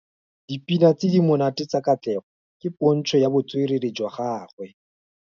Dipina tse di monate tsa Katlego ke pôntshô ya botswerere jwa gagwe.